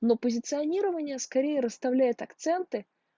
но позиционирование скорее расставляет акценты